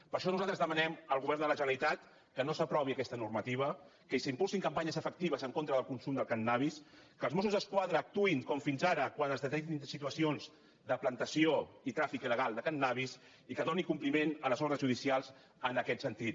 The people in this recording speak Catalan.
per això nosaltres demanem al govern de la generalitat que no s’aprovi aquesta normativa que s’impulsin campanyes efectives en contra del consum de cànnabis que els mossos d’esquadra actuïn com fins ara quan es detectin situacions de plantació i tràfic il·legal de cànnabis i que doni compliment a les ordres judicials en aquest sentit